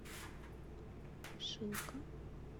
шилка